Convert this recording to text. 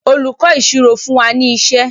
olùkó ìṣirò fún wá ní iṣé.